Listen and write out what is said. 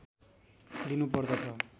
दिनु पर्दछ